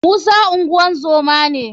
musa ngozoma ne.